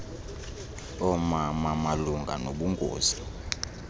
oomama malunga nobungozi